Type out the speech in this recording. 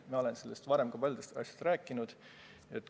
Ma olen sellest varemgi nagu ka paljudest muudest asjadest rääkinud.